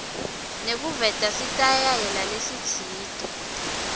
nekuveta sitayela lesitsite